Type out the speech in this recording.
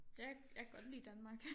Jeg jeg kan godt lide Danmark